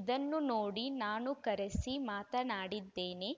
ಇದನ್ನು ನೋಡಿ ನಾನು ಕರೆಸಿ ಮಾತನಾಡಿದ್ದೇನೆ